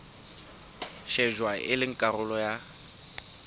shejwa e le karolo ya